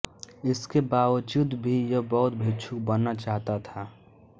इसके बावजूद भी यह बौद्ध भिक्षु बनना चाहता था